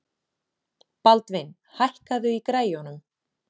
Baldvin, hækkaðu í græjunum.